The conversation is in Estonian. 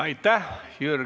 Aitäh!